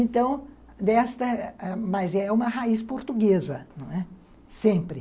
Então, desta, mas é uma raiz portuguesa, sempre.